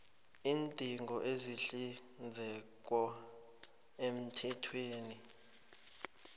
iindingo ezihlinzekwa emthethweni